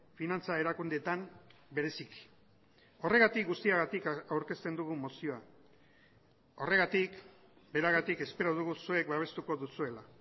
finantza erakundeetan bereziki horregatik guztiagatik aurkezten dugu mozioa horregatik beragatik espero dugu zuek babestuko duzuela